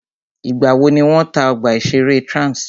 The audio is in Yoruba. Ìgbà wò ni wọ́n tá ọgbà ìṣẹ̀rẹ́ Trans?